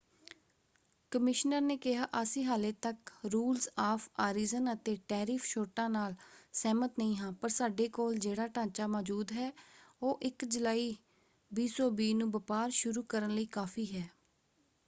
Commissioner ਨੇ ਕਿਹਾ,” ਅਸੀਂ ਹਾਲੇ ਤੱਕ ਰੂਲਜ਼ ਆਫ ਆਰੀਜਨ ਅਤੇ ਟੈਰਿਫ ਛੋਟਾਂ ਨਾਲ ਸਹਿਮਤ ਨਹੀਂ ਹਾਂ ਪਰ ਸਾਡੇ ਕੋਲ ਜਿਹੜਾ ਢਾਂਚਾ ਮੌਜੂਦ ਹੈ ਉਹ 1 ਜੁਲਾਈ 2020 ਨੂੰ ਵਪਾਰ ਸ਼ੁਰੂ ਕਰਨ ਲਈ ਕਾਫ਼ੀ ਹੈ”।